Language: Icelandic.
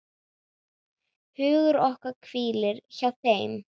Hugur okkar hvílir hjá þeim.